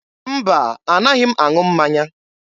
Mba, a naghị m aṅụ mmanya.